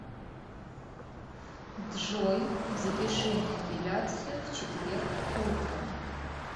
джой запиши на эпиляцию в четверг утром